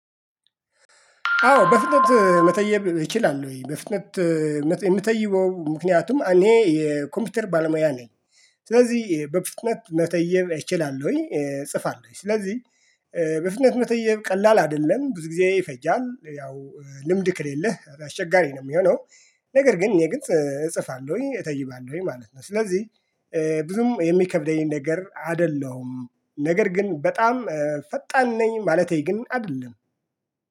አዎ በፍጥነት መተየብ እችላለሁ ወይ በፍጥነት የምተይው ምክንያቱም እኔ የኮምፒውተር ባለሙያ ነኝ። ስለዚህ በፍጥነት መተየብ እችላለሁኝ እጽፋለሁኝ ስለዚህ በፍጥነት መተየብ ቀላል አይደለም ብዙ ጊዜ ይፈጃል ያው ልምድ ከሌለህ አስቸጋሪ ነው የሚሆነው። ነገር ግን እጽፋለሁኝ እተይባለሁኝ ማለት ነው። ስለዚህ ብዙም የሚከብደኝ ነገር አይደለሁም። ነገር ግን በጣም ፈጣን ነኝ ማለቴ ግን አይደለም።